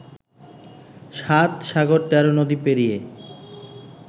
সাত সাগর তেরো নদী পেরিয়ে